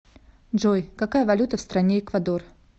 джой какая валюта в стране эквадор